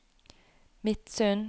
Midsund